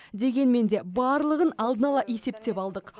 дегенмен де барлығын алдын ала есептеп алдық